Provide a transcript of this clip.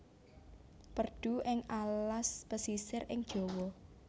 Perdu ing alas pesisir ing Jawa